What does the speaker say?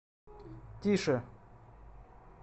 тише